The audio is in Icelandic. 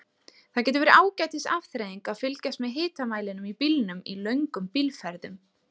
Það getur verið ágætis afþreying að fylgjast með hitamælinum í bílnum í löngum bílferðum.